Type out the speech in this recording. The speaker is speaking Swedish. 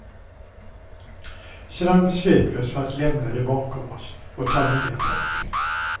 Sedan beslöt vi oss för att lämna det bakom oss och ta nya tag.